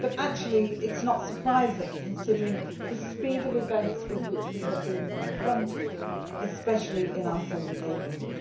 but actually it is not surprising, considering the speed of events with which we have been confronted, especially in our southern neighbourhood.